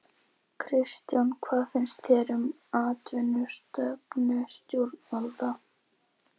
Kristján: Hvað finnst þér um atvinnustefnu stjórnvalda?